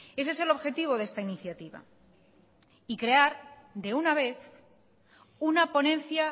ese es el objetivo de esta iniciativa y crear de una vez una ponencia